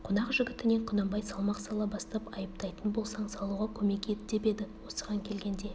қонақ жігітіне құнанбай салмақ сала бастап айыптайтын болсаң салуға көмек ет деп еді осыған келгенде